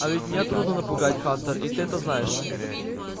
а ведь меня трудно напугать хантер и ты это знаешь